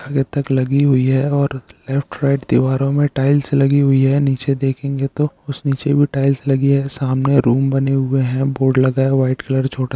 आगे तक लगी हुई है और लेफ्ट राइट दीवारों में टाइल्स लगी हुई है नीचे देखेंगे तो कुछ नीचे भी टाइल्स लगी है सामने रूम बने हुए हैं बोर्ड लगा है वाइट कलर छोटा --